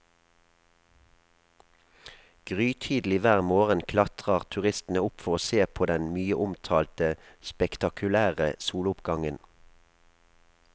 Grytidlig hver morgen klatrer turistene opp for å se på den mye omtalte spektakulære soloppgangen.